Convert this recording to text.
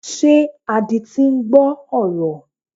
Ṣé adití ń gbọ́ ọ̀rọ̀?